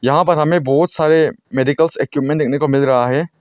यहां पर हमें बहुत सारे मेडिकल इक्यूपमेंट देखने को मिल रहा है।